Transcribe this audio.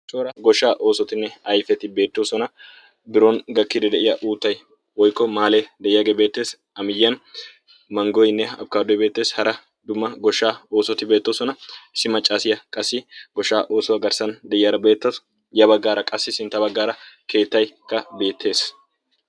goshora goshshaa oosotinne aifeti beettoosona biron gakkidi de'iya uuttai oikko maalee de'iyaagee beetteessi amiyyiyan manggoynne abkkaadoy beettees hara dumma goshshaa oosoti beettoosona issi maccaasiyaa qassi goshshaa oosuwaa garssan de'iyaara beettooya baggaara qassi sintta baggaara keettaykka beettees